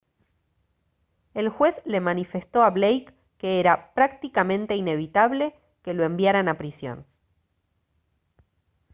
el juez le manifestó a blake que era «prácticamente inevitable» que lo enviaran a prisión